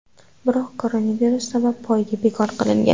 Biroq koronavirus sabab poyga bekor qilingan.